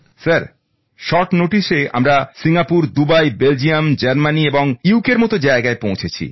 sir কম সময়ের মধ্যে আমরা সিঙ্গাপুর দুবাই বেলজিয়াম জার্মানি এবং বৃটেনের মত জায়গায় পৌঁছেছি